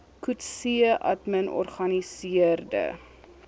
coetzee admin organiseerde